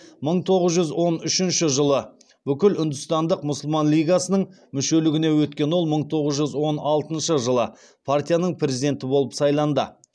мың тоғыз жүз он үшінші жылы бүкілүндістандық мұсылман лигасының мүшелігіне өткен ол мың тоғыз жүз он алтыншы жылы партияның президенті болып сайланды